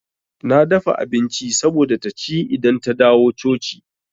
Na dafa abinci saboda taci idan ta dawo coci.